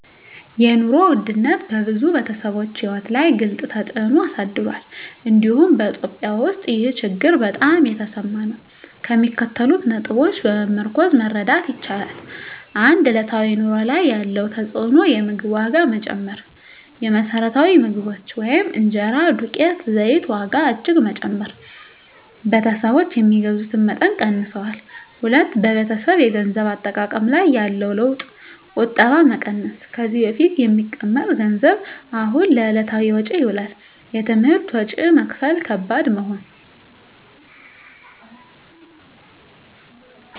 የኑሮ ውድነት በብዙ ቤተሰቦች ሕይወት ላይ ግልፅ ተፅዕኖ አሳድሯል፤ እንዲሁም በEthiopia ውስጥ ይህ ችግር በጣም የተሰማ ነው። ከሚከተሉት ነጥቦች በመመርኮዝ መረዳት ይቻላል፦ 1. በዕለታዊ ኑሮ ላይ ያለው ተፅዕኖ የምግብ ዋጋ መጨመር: የመሰረታዊ ምግቦች (እንጀራ፣ ዱቄት፣ ዘይት) ዋጋ እጅግ በመጨመር ቤተሰቦች የሚገዙትን መጠን ቀንሰዋል። 2. በቤተሰብ የገንዘብ አጠቃቀም ላይ ያለው ለውጥ ቁጠባ መቀነስ: ከዚህ በፊት የሚቀመጥ ገንዘብ አሁን ለዕለታዊ ወጪ ይውላል። የትምህርት ወጪ መክፈል ከባድ መሆን